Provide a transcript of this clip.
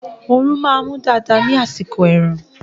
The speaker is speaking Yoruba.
Oòrùn máa mú dáadáa ní àsìkò ẹ̀rùn